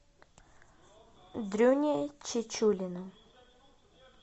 дрюне чечулину